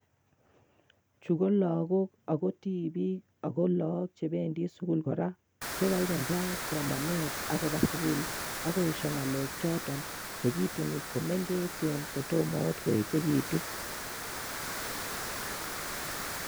Chukologook ako tibiik, ako loog chebendi sugul kora, chekaikai koba sukul ako yesyo ngalechoton che kituni komengechen kotomo koechekitun